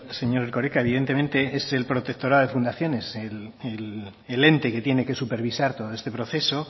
señor erkoreka evidentemente es el protectorado de fundaciones el ente que tiene que supervisar todo este proceso